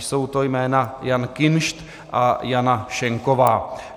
Jsou to jména: Jan Kinšt a Jana Schenková.